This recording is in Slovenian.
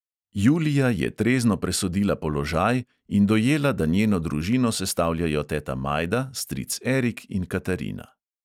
Julija je trezno presodila položaj in dojela, da njeno družino sestavljajo teta majda, stric erik in katarina.